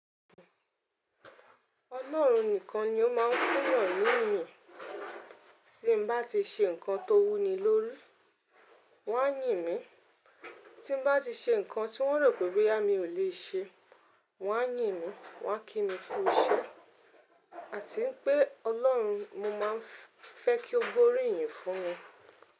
Ọlọ́run nìkan ni ó máa ń fún'yà ni iyìn. Tí n bá ti ṣe nǹkan tó wú ni lórí, wọ́n á yìn mí. Tí n bá ti ṣe nǹkan tí wọ́n rò pé boya mi ò lè ṣe, wọ́n á yìn mí, wọ́n á kí mi kú iṣẹ́. Àti pé Ọlọ́run, mo máa ń fẹ́ kí ó gbóríyìn fún wọn.